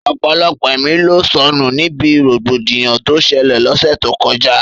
Ọ̀pọ̀lọpọ̀ ẹ̀mí ló sọnù níbi rògbòdìyàn tó ṣẹlẹ̀ l'ọ́ṣẹ́ tó kọjá